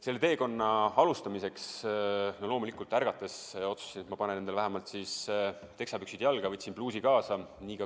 Selle teekonna alustamiseks loomulikult otsustasin, et panen endale vähemalt teksapüksid jalga, ja võtsin pluusi kaasa.